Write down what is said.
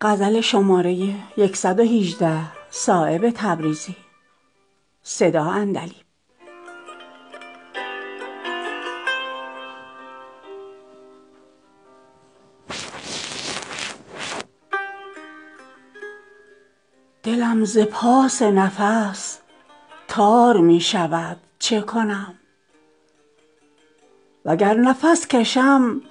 دلم ز پاس نفس تار می شود چه کنم وگر نفس کشم